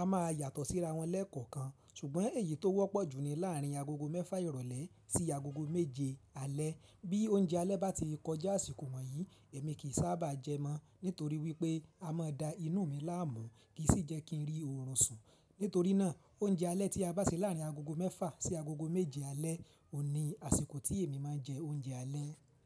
a máa yàtọ̀ síra wọn lẹ́ẹ̀kọ̀kan, ṣùgbọ́n èyí tó wọ́pọ̀ jù ni láàrin agogo mẹ́fà ìrọ̀lẹ́ sí agogo méje alẹ́. Bí oúnjẹ alẹ́ bá ti kọjá àsìkò wọ̀nyí, èmi kì í sábà jẹ mọ́, nítorí wípé a máa da inú mi láàmú, kì í sì jẹ́ kí ń rí oorun sùn. Nítorí náà oúnjẹ alẹ́ tí a bá se láàrin agogo mẹ́fà sí agogo méje alẹ́ òun ni àsìkò tí èmi máa ń jẹ oúnjẹ alẹ́